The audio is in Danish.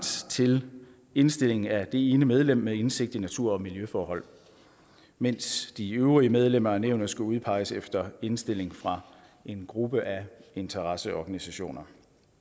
til indstilling af det ene medlem med indsigt i natur og miljøforhold mens de øvrige medlemmer af nævnet skal udpeges efter indstilling fra en gruppe af interesseorganisationer